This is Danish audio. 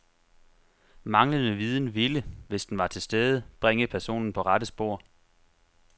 Manglende viden, ville , hvis den var til stede, bringe personen på rette spor.